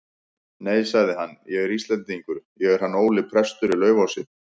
Nei, sagði hann,-ég er Íslendingur, ég er hann Óli prestur í Laufási.